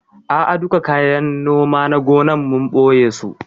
A'a duka kayan noma na gonan, mun ɓoye su